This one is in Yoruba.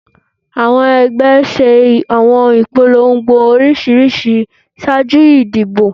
awọn ẹgbẹ́ ṣe awọn ipolongo oriṣiriṣi ṣaaju idibo